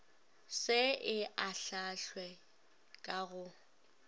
se e ahlaahlwe ka go